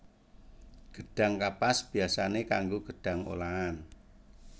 Gedhang kapas biyasané kanggo gedhang olahan